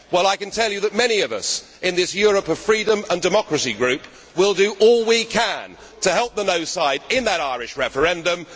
Well, I can tell you that many of us in this Europe of Freedom and Democracy Group will do all we can to help the no' side in that Irish referendum.